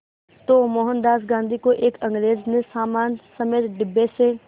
तो मोहनदास गांधी को एक अंग्रेज़ ने सामान समेत डिब्बे से